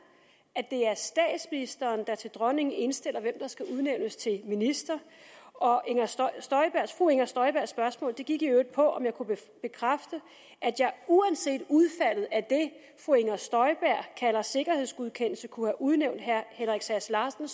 at det er statsministeren der til dronningen indstiller hvem der skal udnævnes til minister og fru inger støjbergs spørgsmål gik i øvrigt på om jeg kunne bekræfte at jeg uanset udfaldet af det fru inger støjberg kalder sikkerhedsgodkendelse kunne have udnævnt herre henrik sass larsen